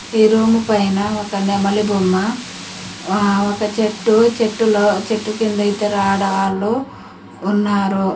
ఈ రూము పైన ఒక నెమలి బొమ్మ ఆ ఒక చెట్టు చెట్టులో చెట్టు కింద ఇద్దరు ఆడవాళ్లు ఉన్నారు.